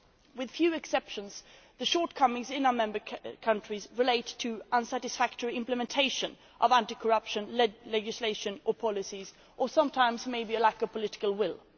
With few exceptions, the shortcomings in our member countries relate to the unsatisfactory implementation of anti corruption legislation or policies or sometimes, perhaps, a lack of political will.